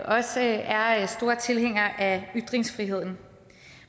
også er er store tilhængere af ytringsfriheden